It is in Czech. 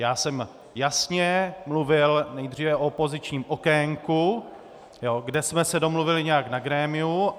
Já jsem jasně mluvil nejdříve o opozičním okénku, kde jsme se domluvili nějak na grémiu.